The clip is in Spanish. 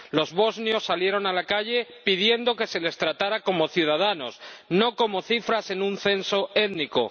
Los bosnios salieron a la calle pidiendo que se les tratara como ciudadanos, no como cifras, en un censo étnico